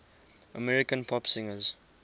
american pop singers